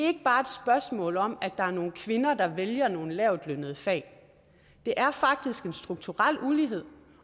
ikke bare et spørgsmål om at der er nogle kvinder der vælger nogle lavtlønnede fag det er faktisk en strukturel ulighed